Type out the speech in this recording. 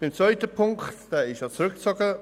Zum zweiten Punkt: Dieser wurde zurückgezogen;